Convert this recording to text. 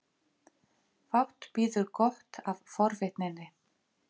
Fátt bíður gott af forvitninni.